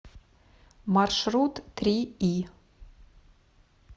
маршрут три и